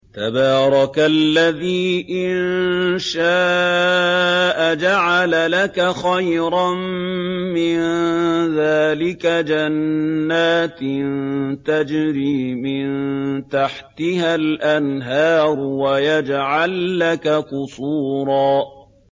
تَبَارَكَ الَّذِي إِن شَاءَ جَعَلَ لَكَ خَيْرًا مِّن ذَٰلِكَ جَنَّاتٍ تَجْرِي مِن تَحْتِهَا الْأَنْهَارُ وَيَجْعَل لَّكَ قُصُورًا